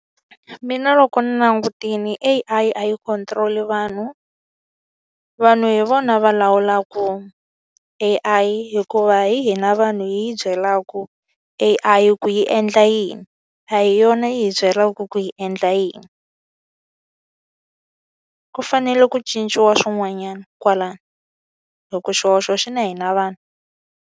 Mina loko ni langutile A_I yi control-i vanhu, vanhu hi vona va lawulaka A_I hikuva hina vanhu hi yi byelaka A_I ku yi endla yini. A hi yona yi hi byela leswaku hi endla yini. Ku fanele ku cinciwa swin'wanyana kwalano, hikuva xihoxo xi na hina vanhu.